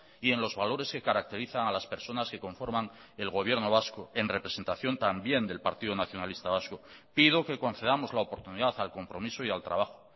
y en los valores que caracterizan a las personas que conforman el gobierno vasco en representación también del partido nacionalista vasco pido que concedamos la oportunidad al compromiso y al trabajo